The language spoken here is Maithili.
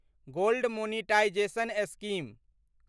gold monetisation scheme